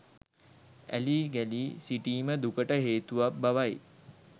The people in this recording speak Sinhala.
ඇලී ගැලී සිටීම දුකට හේතුවක් බවයි.